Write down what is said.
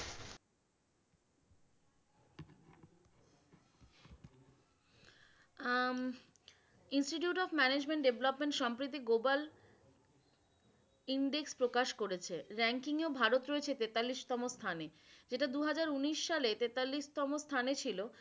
Um Institute of Management Development সম্প্রীতি Google index প্রকাশ করেছে। ranking এও ভালো রয়েছে তেতাল্লিশতম স্থানে। এটা দু হাজার উনিশ সালে তেতাল্লিশতম স্থানে ছিল।